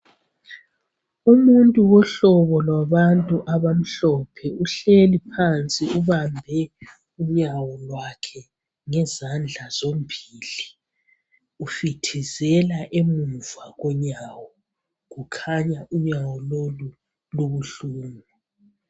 Umuntu wohlobo lwabantu abamhlophe uhleli phansi ubambe unyawo lwakhe ngezandla zombili, ufuthizela emuva konyawo kukhanya unyawo lolu lubuhlungu.